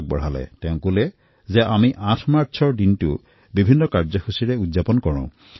তেওঁ প্ৰস্তাৱ দিলে যে ৮ মাৰ্চ মহিলা দিৱসৰ পালন কৰাৰ বাবে বিভিন্ন কাৰ্যসূচী অনুষ্ঠিত কৰা হয়